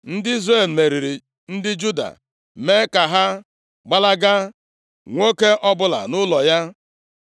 Ndị Izrel meriri ndị Juda, mee ka ha gbalaga, nwoke ọbụla nʼụlọ ya.